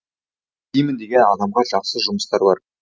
істеймін деген адамға жақсы жұмыстар бар